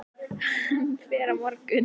Hann fer á morgun.